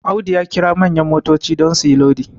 Audu ya kira manyan motoci don su yi Lodi